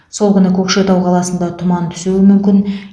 сол күні көкшетау қаласында тұман түсуі мүмкін